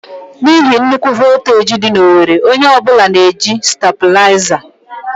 N'ihi nnukwu voltaji dị na owerri, onye ọ bụla na-eji Stàbulaizà.